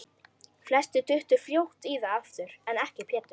Flestir duttu fljótt í það aftur, en ekki Pétur.